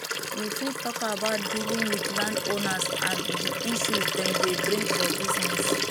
you fit talk about dealing with landowners and di issues dem dey bring for business